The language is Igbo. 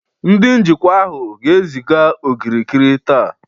Ndị njikwa ahụ ga-eziga okirikiri taa